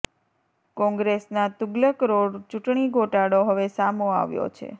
કોંગ્રેસના તુગલક રોડ ચુંટણી ગોટાળો હવે સામો આવ્યો છે